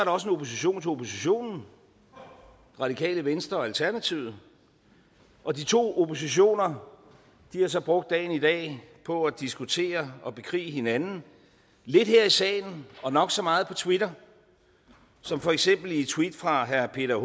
også en opposition til oppositionen radikale venstre og alternativet og de to oppositioner har så brugt dagen i dag på at diskutere og bekrige hinanden lidt her i salen og nok så meget på twitter som for eksempel i et tweet fra herre peter